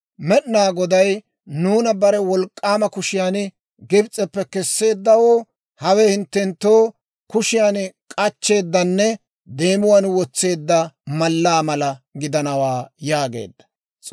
Med'inaa Goday nuuna bare wolk'k'aama kushiyaan Gibs'eppe kesseeddawoo, hawe hinttenttoo kushiyaan k'achcheeddanne deemuwaan wotseedda mallaa mala gidanawaa» yaageedda.